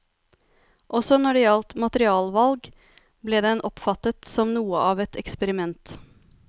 Også når det gjaldt materialvalg, ble den oppfattet som noe av et eksperiment.